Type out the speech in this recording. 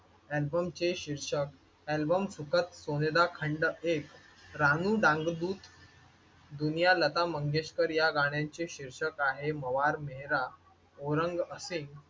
अल्बमचे शीर्षक अल्बम सुखात सोनेदा खंड एक राहू डांग डुप दुनिया लता मंगेशकर या गाण्याचे शीर्षक आहे मवार मेहरा औरंग असिंघ